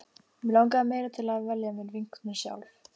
Mig langaði meira til að velja mér vinkonur sjálf.